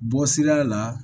Bɔ sira la